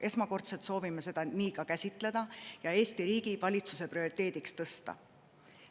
Esmakordselt soovime seda nii ka käsitleda ja Eesti riigi ja valitsuse prioriteediks tõsta.